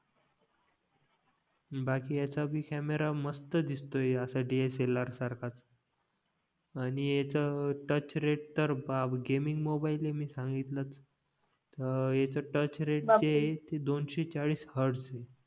बाकी ह्याची भी कॅमेरा असं मस्तच दिसतोय असं डी यास ए लार सारखाच आणि ह्याचा टच रेट तर बाप गेमिंग मोबाईल आहे मी सांगितलंच तर ह्याचा टच रेट ते दोनशे चाळीस हॅर्डस आहे